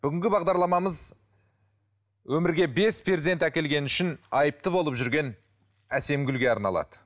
бүгінгі бағдарламамыз өмірге бес перзент әкелгені үшін айыпты болып жүрген әсемгүлге арналады